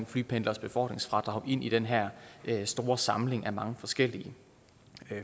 flypendleres befordringsfradrag ind i den her store samling af mange forskellige